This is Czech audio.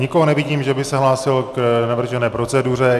Nikoho nevidím, že by se hlásil k navržené proceduře.